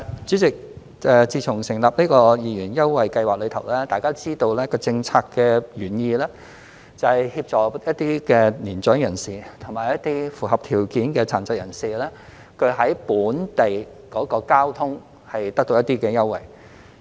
主席，自從成立二元優惠計劃後，大家都知道，政策原意是協助一些年長人士和符合條件的殘疾人士在使用本地公共交通方面得到一些優惠。